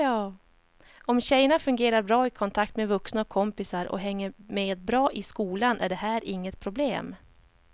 Om tjejerna fungerar bra i kontakt med vuxna och kompisar och hänger med bra i skolan är det här inget problem.